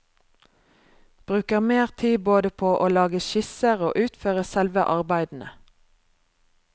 Bruker mer tid både på å lage skisser og utføre selve arbeidene.